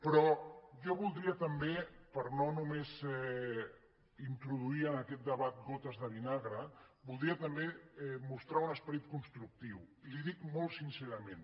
però jo voldria també per no només introduir en aquest debat gotes de vinagre voldria també mostrar un esperit constructiu i li ho dic molt sincerament